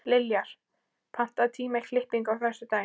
Liljar, pantaðu tíma í klippingu á föstudaginn.